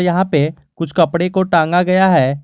यहां पे कुछ कपड़े को टांगा गया है।